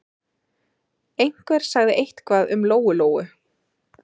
Einhver sagði eitthvað um Lóu-Lóu.